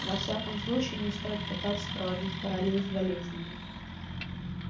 во всяком случае не стоит пытаться проводить параллель с болезнями